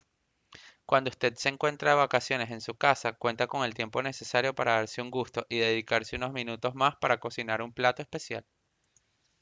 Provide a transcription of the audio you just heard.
cuando usted se encuentra de vacaciones en su casa cuenta con el tiempo necesario para darse un gusto y dedicar unos minutos más para cocinar un plato especial